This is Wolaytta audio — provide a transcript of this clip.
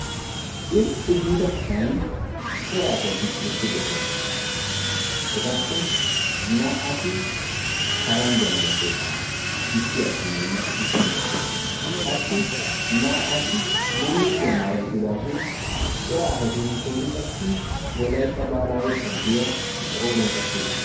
irxi giida kuwani corra assati eqidosson ettape naa"ti boottatta qassi naa"ati bulukuwaa maayidossona hara corrati wolaytta wogaa dunguzzaa qooriyani xaaxidossona.